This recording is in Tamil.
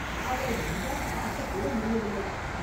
அவளை நன்றாய்ப் பார்க்கக் கூட முடியவில்லை.